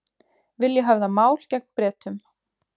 Vilja höfða mál gegn Bretum